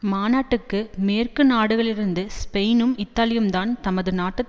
மாநாட்டுக்கு மேற்கு நாடுகளிலிருந்து ஸ்பெயினும் இத்தாலியும்தான் தமது நாட்டு